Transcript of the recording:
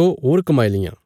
दो होर कमाई लियां